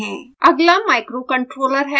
अगला microcontroller है